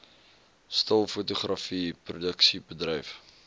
stil fotografie produksiebedryf